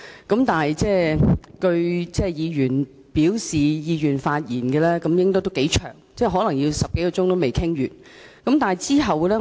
鑒於議員表示意願發言的名單頗長，可能10多小時也未能完成《條例草案》的各項程序。